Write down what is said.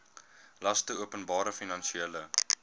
laste openbare finansiële